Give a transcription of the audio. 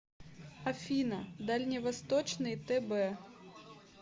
афина дальневосточный тб